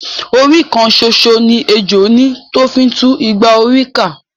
Orí kan ṣoṣo ni ejò ní tó fi ńtú igba orí ká